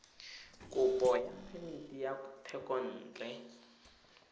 kopo ya phemiti ya thekontle